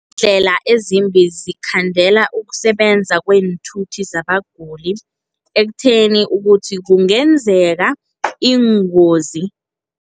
Iindlela ezimbi zikhandela ukusebenza kweenthuthi zabaguli, ekutheni ukuthi kungenzeka iingozi.